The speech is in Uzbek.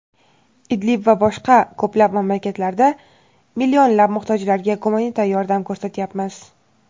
Idlib va boshqa ko‘plab mamlakatlarda millionlab muhtojlarga gumanitar yordam ko‘rsatyapmiz.